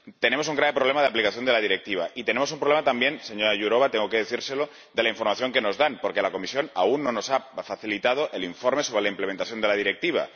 Tenemos un grave problema de aplicación de la Directiva y tenemos un problema también, señora Jourová, tengo que decírselo, de la información que nos dan, porque la Comisión aún no nos ha facilitado el informe sobre la implementación de la Directiva.